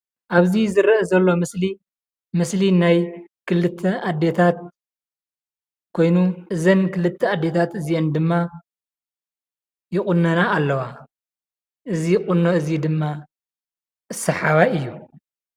አበዚ ዝረእ ዘሎ ምስሊ ምስሊ ናይ ክልተ አዴታት ኮይኑ፣ እዘን ክልተ አዴታት እዚኤን ድማ ይቁነና አለዋ። እዚ ቁኖ እዚ ድማ ሳሓውይ እዩ፡፡